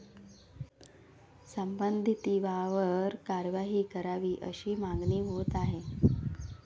संबंधितांवर कारवाई करावी, अशी मागणी होत आहे.